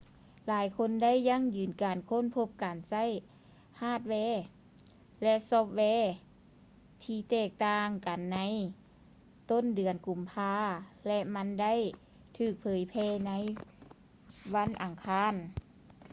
ຫຼາຍຄົນໄດ້ຢັ້ງຢືນການຄົ້ນພົບການໃຊ້ຮາດແວ ແລະ ຊອບແວທີ່ແຕກຕ່າງກັນໃນຕົ້ນເດືອນກຸມພາ ແລະ ມັນໄດ້ຖືກເຜີຍແຜ່ໃນວັນອັງຄານ